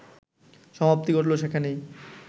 সমাপ্তি ঘটল সেখানেই